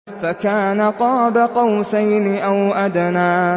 فَكَانَ قَابَ قَوْسَيْنِ أَوْ أَدْنَىٰ